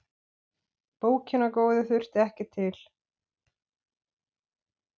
Bókina góðu þurfti ekki til.